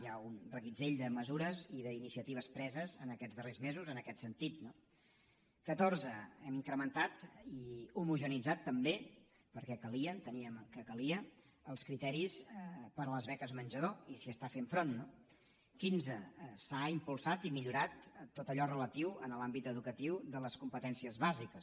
hi ha un reguitzell de mesures i d’iniciatives preses aquests darrers mesos en aquest sentit no catorze hem incrementat i homogeneïtzat també perquè calia enteníem que calia els criteris per a les beques menjador i s’hi està fent front no quinze s’ha impulsat i millorat tot allò relatiu en l’àmbit educatiu a les competències bàsiques